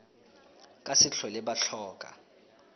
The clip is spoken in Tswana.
ka se tlhole ba tlhoka